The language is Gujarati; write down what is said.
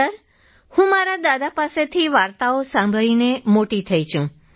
સર હું મારા દાદા પાસેથી વાર્તાઓ સાંભળીને મોટી થઈ છું